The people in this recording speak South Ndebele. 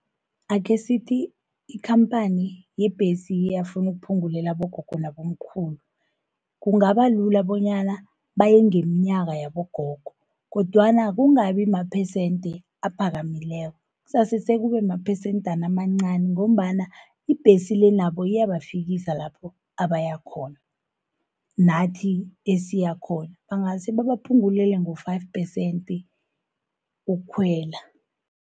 Akhesithi ikhamphani yebhesi iyafunu ukuphungulela abogogo nabomkhulu, kungabalula bonyana bayengeminyaka yabogogo, kodwana kungabi maphesende aphakamileko. Kuzasekube maphesendana amancani, ngombana ibhesi le nabo iyabafikisa lapho abayakhona, nathi esiyakhona. Bangase babaphungulele nge-five percent ukukhwela.